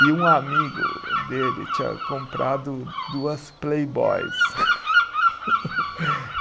E um amigo dele tinha comprado duas Playboys.